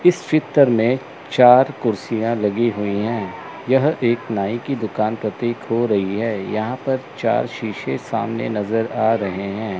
इस चितर में चार कुर्सियां लगी हुई हैं यह एक नाई की दुकान प्रतिक हो रही है यहां पर चार शीशे सामने नजर आ रहे हैं।